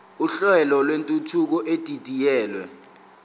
uhlelo lwentuthuko edidiyelwe